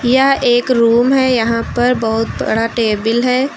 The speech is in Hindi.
यह एक रूम है यहां पर बहुत बड़ा टेबिल है।